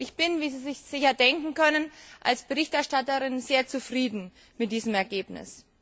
Ich bin, wie Sie sich sicher denken können, als Berichterstatterin sehr zufrieden mit diesem Ergebnis.